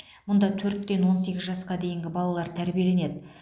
мұнда төрттен он сегіз жасқа дейінгі балалар тәрбиеленеді